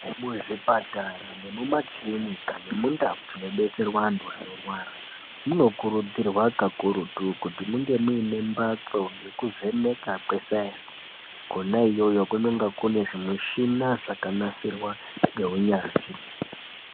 Muzvipatara nemumakirinika mundau dzinobetserwa antu anorwara. Munokurudzirwa kakurutu kuti munge muine mbatso yekuvheneka kwesaenzi. Kona iyoyo kunenge kune zvimishina zvakanasirwa ngeunyanzvi.